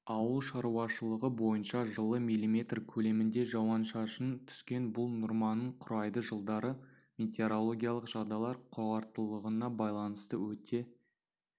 ауылшаруашылығы бойынша жылы миллиметр көлемінде жауыншашын түскен бұл норманың құрайды жылдары метеорологиялық жағдайлар қауырттылығына байланысты өте